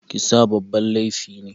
Kisa babban laifi ne